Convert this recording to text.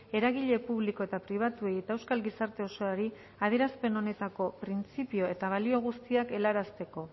eragile publiko eta pribatuei eta euskal gizarte osoari adierazpen honetako printzipio eta balio guztiak helarazteko